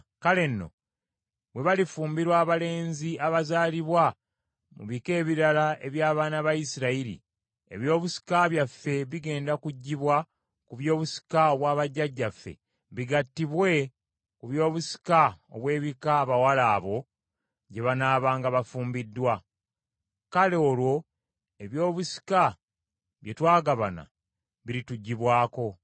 Kale, nno, bwe balifumbirwa abalenzi abazaalibwa mu bika ebirala eby’abaana ba Isirayiri, ebyobusika byabwe bigenda kuggyibwa ku by’obusika obwa bajjajjaffe bigattibwe ku by’obusika obw’ebika abawala abo gye banaabanga bafumbiddwa. Kale olwo ebyobusika bye twagabana birituggyibwako.